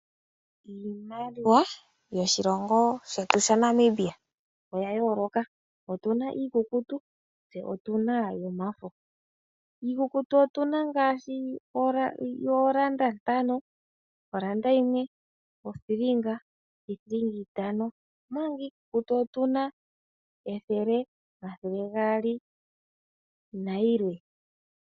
Iimaliwa yoshilongo shetu shaNamibia oya yooloka , otuna iikukutu tse otuna yomafo. Iikukutu otuna ngaashi oolanda ntano, olanda yimwe, othilinga, niithilinga itano. Omanga omafo otuna ethele, omathele gaali na yilwe.